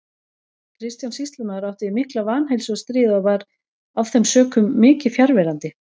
Kristján sýslumaður átti við mikla vanheilsu að stríða og var af þeim sökum mikið fjarverandi.